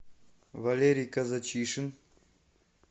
валерий казачишин